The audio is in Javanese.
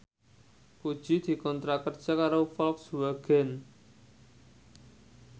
Puji dikontrak kerja karo Volkswagen